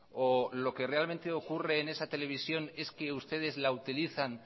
o lo que realmente ocurre en esa televisión es que ustedes la utilizan